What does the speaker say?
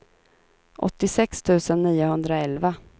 åttiosex tusen niohundraelva